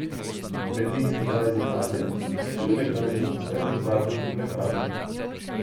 Med njimi sta dva iz Italije pa tudi nekdanji zaposleni iz zadružne mlekarne.